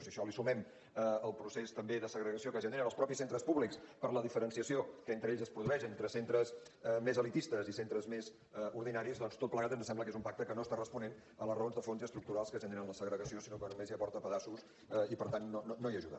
si a això li sumem el procés també de segregació que generen els mateixos centres públics per la diferenciació que entre ells es produeix entre centres més elitistes i centres més ordinaris doncs tot plegat ens sembla que és un pacte que no està responent a les raons de fons i estructurals que generen la segregació sinó que només hi aporta pedaços i per tant no hi ajuda